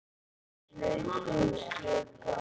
Hlaupum skipaði hann.